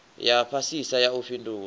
ya fhasisa ya u fhindula